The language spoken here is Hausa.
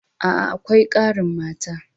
A'a, akwai ƙarin mata.